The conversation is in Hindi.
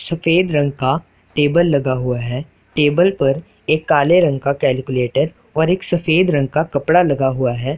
सफेद रंग का टेबल लगा हुआ है टेबल पर एक काले रंग का कैलकुलेटर और एक सफेद रंग का कपड़ा लगा हुआ है।